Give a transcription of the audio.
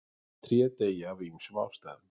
Tré deyja af ýmsum ástæðum.